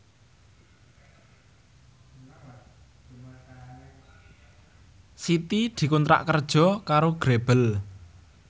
Siti dikontrak kerja karo Grebel